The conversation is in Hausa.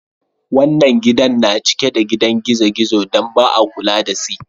Wannan gidan na cike da gidan gizo-gizo dan ba'a kulla da si.